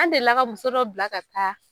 An delila ka muso dɔ bila ka taa.